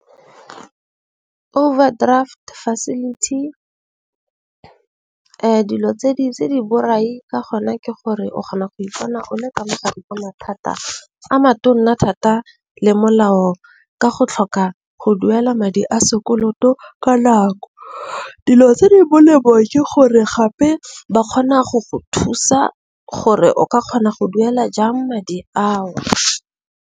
Overdraft facility dilo tse di borai ka gona ke gore o kgona go ipona o le ka mogala o na thata, a matona thata le molao ka go tlhoka go duela madi a sekoloto ka nako. Dilo tse di molemo ke gore gape ba kgona go go thusa gore o ka kgona go duela jang madi a o.